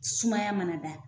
Sumaya mana da